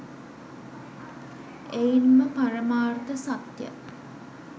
එයින්ම පරමාර්ථ සත්‍ය